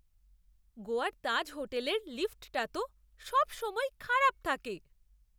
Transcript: গোয়ার তাজ হোটেলের লিফ্টটা তো সবসময়ই খারাপ থাকে।